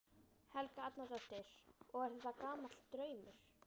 Helga Arnardóttir: Og er þetta gamall draumur?